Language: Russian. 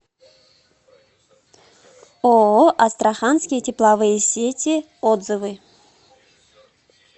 ооо астраханские тепловые сети отзывы